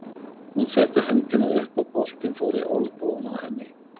Hún setti hendina upp og boltinn fór í olnbogann á henni.